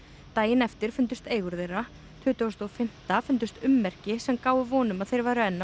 daginn eftir fundust eigur þeirra tuttugasta og fimmta fundust ummerki sem gáfu von um að þeir væru enn á